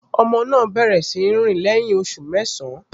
Ọmọ náà bẹ̀rẹ̀ sí í rìn lẹ́yìn oṣù mẹ́sàn-án